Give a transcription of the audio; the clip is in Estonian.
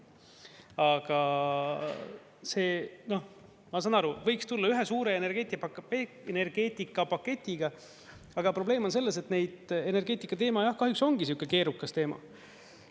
Aga noh, ma saan aru, võiks tulla ühe suure energeetikapaketiga, aga probleem on selles, et energeetikateema jah, kahjuks ongi sihuke keerukas teema.